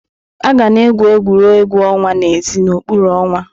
Aga na-egwu egwuregwu ọnwa n'èzí n'okpuru ọnwa.